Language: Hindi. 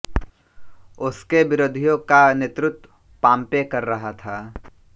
उसके विरोधियों का नेतृत्व पांपे कर रहा था